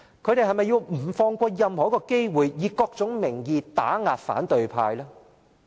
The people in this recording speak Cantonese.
他們是否不放過任何一個機會，以各種名義打壓反對派？